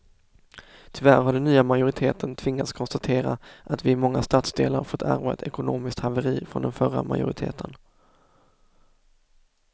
Tyvärr har den nya majoriteten tvingats konstatera att vi i många stadsdelar fått ärva ett ekonomiskt haveri från den förra majoriteten.